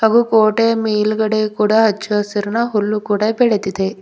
ಹಾಗೂ ಕೋಟೆಯ ಮೇಲ್ಗಡೆ ಸಚ್ಚಹಸುರಿನ ಹುಲ್ಲು ಕೂಡ ಬೆಳೆದಿದೆ.